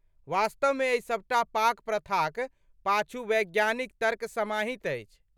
वास्तवमे एहि सबटा पाक प्रथाक पाछू वैज्ञानिक तर्क समाहित अछि।